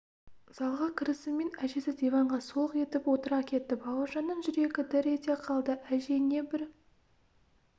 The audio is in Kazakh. залға кірісімен әжесі диванға солқ етіп отыра кетті бауыржанның жүрегі дір ете қалды әже не бір